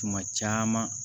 Tuma caman